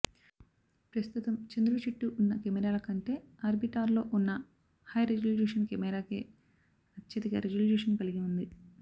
ప్రస్తుతం చంద్రుడి చుట్టూ ఉన్న కెమెరాల కంటే ఆర్బిటార్లో ఉన్న హై రిజల్యూషన్ కెమెరాకే అత్యధిక రిజల్యూషన్ కలిగి ఉంది